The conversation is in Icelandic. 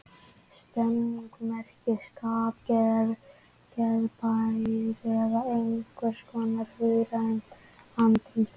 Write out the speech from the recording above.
Stemning merkir skap, geðblær eða einhvers konar hugrænt andrúmsloft.